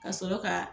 Ka sɔrɔ ka